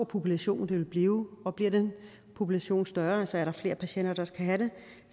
population det vil blive og bliver den population større så er der flere patienter der skal have